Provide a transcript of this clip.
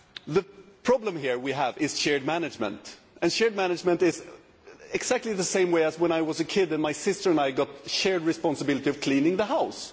The problem here is shared management, and shared management is exactly the same as it was when I was a kid and my sister and I had the shared responsibility of cleaning the house.